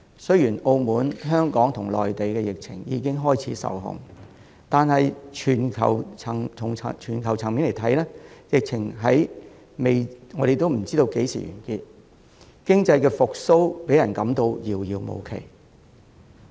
雖然澳門、香港和內地的疫情已經開始受控，但從全球層面來看，我們還未知道疫情何時完結，讓人感到經濟復蘇遙遙無期。